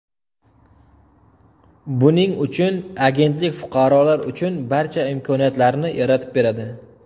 Buning uchun agentlik fuqarolar uchun barcha imkoniyatlarni yaratib beradi.